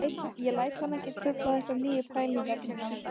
Ég læt hann ekki trufla þessar nýju pælingar mínar